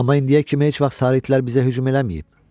Amma indiyə kimi heç vaxt sarı itlər bizə hücum eləməyib.